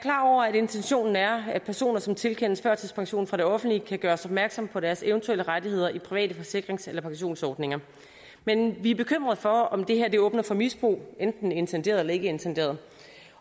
at intentionen er at personer som tilkendes førtidspension fra det offentlige kan gøres opmærksomhed på deres eventuelle rettigheder i private forsikrings eller pensionsordninger men vi er bekymret for om det her åbner for misbrug enten intenderet eller ikke intenderet